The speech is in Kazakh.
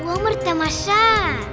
өмір тамаша